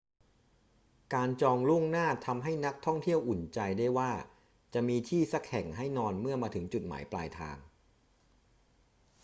การจองล่วงหน้าทำให้นักท่องเที่ยวอุ่นใจได้ว่าจะมีที่สักแห่งให้นอนเมื่อมาถึงจุดหมายปลายทาง